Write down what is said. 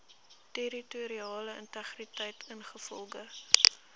territoriale integriteit ingevolge